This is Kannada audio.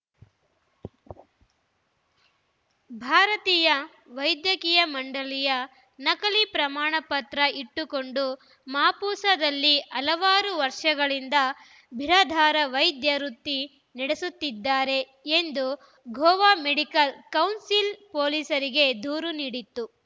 ಭಾರತೀಯ ವೈದ್ಯಕೀಯ ಮಂಡಳಿಯ ನಕಲಿ ಪ್ರಮಾಣಪತ್ರ ಇಟ್ಟುಕೊಂಡು ಮಾಪುಸಾದಲ್ಲಿ ಹಲವಾರು ವರ್ಷಗಳಿಂದ ಬಿರಾದಾರ ವೈದ್ಯ ವೃತ್ತಿ ನಡೆಸುತ್ತಿದ್ದಾರೆ ಎಂದು ಗೋವಾ ಮೆಡಿಕಲ್‌ ಕೌನ್ಸಿಲ್‌ ಪೊಲೀಸರಿಗೆ ದೂರು ನೀಡಿತ್ತು